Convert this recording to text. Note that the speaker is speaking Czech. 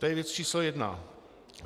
To je věc číslo jedna.